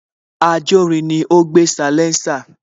Ajórin ni ó gbé salésà